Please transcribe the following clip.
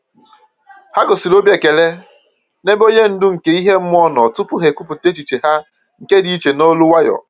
Ha gosịrị obi ekele n'ebe onye ndu nke ihe mmụọ nọ tupu ha ekwupọta echiche ha nke dị iche n'olu nwayọ.